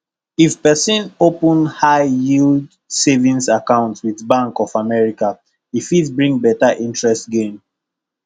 if person open high yield savings account with bank of america e fit bring better interest gain